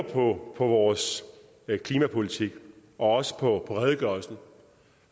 på vores klimapolitik og også på redegørelsen